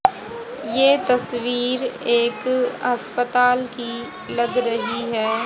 ये तस्वीर एक अस्पताल की लग रहीं हैं।